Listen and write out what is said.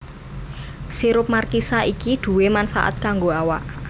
Sirup markisa iki duwè manfaat kanggo awak